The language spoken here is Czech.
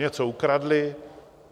Něco ukradli?